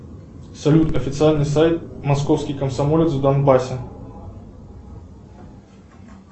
салют официальный сайт московский комсомолец в донбассе